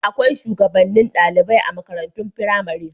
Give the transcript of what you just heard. Akwai shugabannin ɗalibai a makarantun firamare.